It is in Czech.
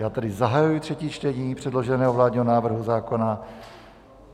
Já tedy zahajuji třetí čtení předloženého vládního návrhu zákona.